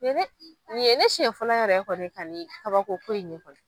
Ni ye, ne ye siɲɛ fɔlɔ yɛrɛ kɔni ye ka ni kaba ko ko in ye kɔni.